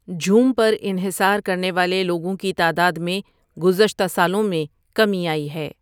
جھوم پر انحصار کرنے والے لوگوں کی تعداد میں گذشتہ سالوں میں کمی آئی ہے۔